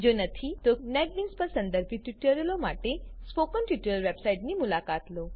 જો નથી તો નેટબીન્સ પર સંદર્ભિત ટ્યુટોરીયલો માટે સ્પોકન ટ્યુટોરીયલ વેબસાઈટની મુલાકાત લો